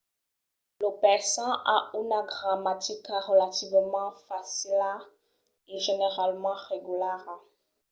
lo persan a una gramatica relativament facila e generalament regulara